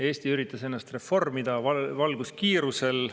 Eesti üritas ennast reformida valguskiirusel.